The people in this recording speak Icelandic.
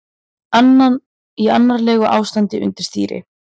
Í annarlegu ástandi undir stýri